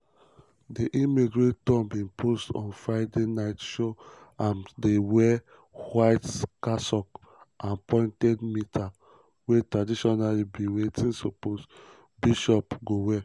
di image wey trump bin post on um friday night show am dey wear white cassock and pointed mitre wey traditionally be wetin bishop go um wear.